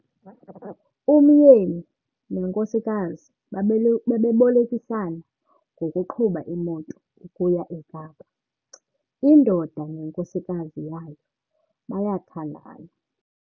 Umyeni nenkosikazi bebebolekisana ngokuqhuba imoto ukuya eKapa. indoda nenkosikazi yayo bayathandana